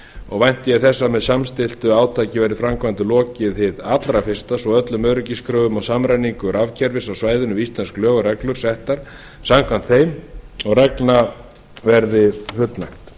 og vænti ég þess að með samstilltu átaki verði framkvæmdum lokið hið allra fyrsta svo öllum öryggiskröfum og samræmingu rafkerfis á svæðinu við íslensk lög og reglur settar samkvæmt þeim og reglna verði fullnægt